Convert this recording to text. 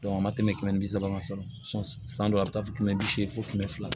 a ma tɛmɛ kɛmɛ bi saba kan fɔlɔ san dɔ a bɛ taa fɔ kɛmɛ bi seegin fo kɛmɛ fila